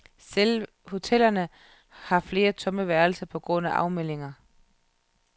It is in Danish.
Selv hotellerne har flere tomme værelser på grund af afmeldinger.